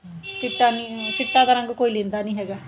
ਚਿੱਟਾ ਨੀ ਚਿੱਟਾ ਤਾਂ ਰੰਗ ਕੋਈ ਲੈਂਦਾ ਨਹੀਂ ਹੈਗਾ